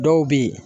Dɔw bɛ ye